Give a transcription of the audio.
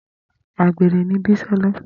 Agbere ni Bisola.